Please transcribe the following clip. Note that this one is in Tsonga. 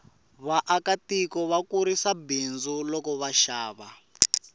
vaaka tiko va kurisa bindzu loko va xava